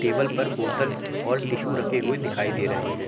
Table पर बोतल और टिस्सु रखे हुए दिखाई दे रहे हैं।